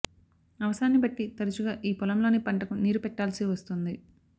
అవసరాన్ని బట్టి తరచుగా ఈ పొలంలోని పంటకు నీరు పెట్టాల్సి వస్తుంది